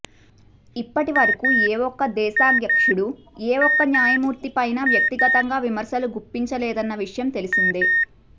ఇప్పటి వరకూ ఏ ఒక్క దేశాధ్యక్షుడూ ఏ ఒక్క న్యాయమూర్తిపైనా వ్యక్తిగతంగా విమర్శలు గుప్పించలేదన్న విషయం తెలిసిందే